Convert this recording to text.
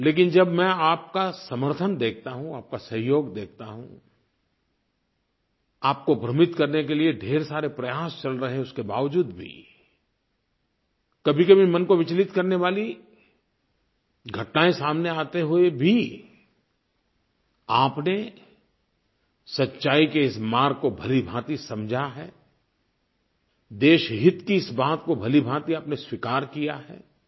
लेकिन जब मैं आपका समर्थन देखता हूँ आपका सहयोग देखता हूँ आपको भ्रमित करने के लिये ढेर सारे प्रयास चल रहे हैं उसके बावजूद भी कभीकभी मन को विचलित करने वाली घटनायें सामने आते हुए भी आपने सच्चाई के इस मार्ग को भलीभांति समझा है देशहित की इस बात को भलीभांति आपने स्वीकार किया है